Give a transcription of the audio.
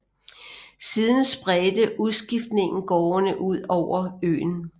Siden spredte udskiftningen gårdene ud over øen